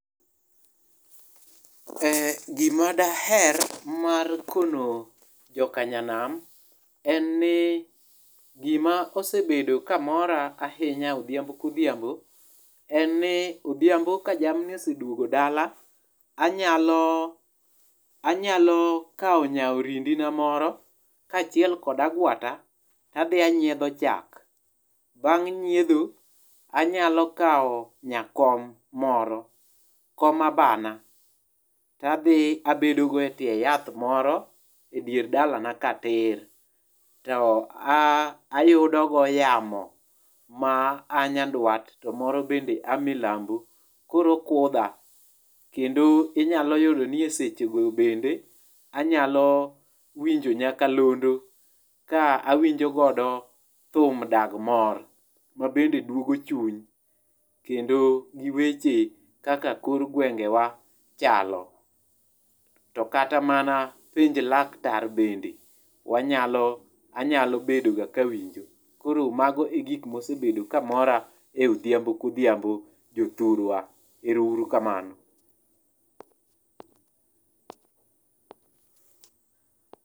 Gima dajer mar kono jokanyanam en ni gima osebedo kamora odhiambo kodhiambo en ni odhiambo ka jamni oseduongo dala, anyalo anyalo kawo nya orindi na moro kaachiel kod agwata tadhi anyiedho chak. Bang' nyiedho anyalo kawo nyakom moro kom abana tadhi abedo go etie yath moro edier dalana ka tir to ayudo go yamo maa nyandwat to moro bende a milambo koro okudha kendo inyalo yudo ni eseche go bende anyalo winjo nyakalondo ka awinjo godo thum dag mor ma bende duogo chuny kendo weche kaka kor gwenge wa chalo. To kata mana penj laktar bende wanyalo anyalo bedo ga kawinjo .Koro mago e gik mosebedo ga kamoro e odhiambo kodhiambo jothurwa erouru kamano.